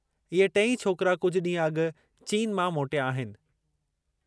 इहे टेई छोकिरा कुझु ॾींहुं अॻु चीन मां मोटिया आहिनि।